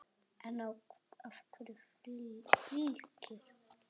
En af hverju Fylkir?